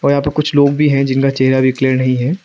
यहा पे कुछ लोग भी हैं जिनका चेहरा भी क्लियर नहीं है।